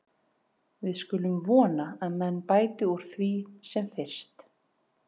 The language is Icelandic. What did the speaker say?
Við skulum vona að menn bæti úr því sem fyrst.